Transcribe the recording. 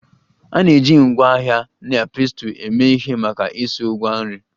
A na-eji ngwa agha na pestle eme ihe maka isu Ngwa nri